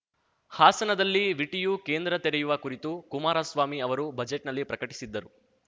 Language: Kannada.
ಹಾಸನದಲ್ಲಿ ವಿಟಿಯು ಕೇಂದ್ರ ತೆರೆಯುವ ಕುರಿತು ಕುಮಾರಸ್ವಾಮಿ ಅವರು ಬಜೆಟ್‌ನಲ್ಲಿ ಪ್ರಕಟಿಸಿದ್ದರು